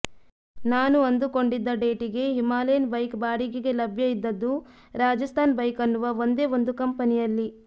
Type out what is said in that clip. ನಾನು ಅಂದುಕೊಂಡಿದ್ದ ಡೇಟಿಗೆ ಹಿಮಾಲಯನ್ ಬೈಕ್ ಬಾಡಿಗೆಗೆ ಲಭ್ಯ ಇದ್ದದ್ದು ರಾಜಸ್ಥಾನ್ ಬೈಕ್ ಅನ್ನುವ ಒಂದೇ ಒಂದು ಕಂಪನಿಯಲ್ಲಿ